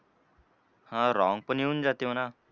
हां wrong पण येऊन जाते म्हणा.